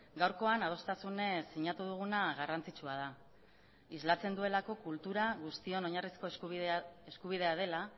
gaurkoan adostasunez sinatu duguna garrantzitsua da islatzen duelako kultura guztion oinarrizko eskubidea dela